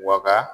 Waga